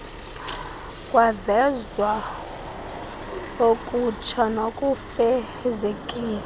kwavezwa okutsha kokufezekisa